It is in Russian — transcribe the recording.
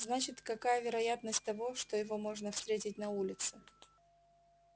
значит какая вероятность того что его можно встретить на улице